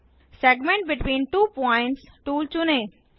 segment between two points tool चुनें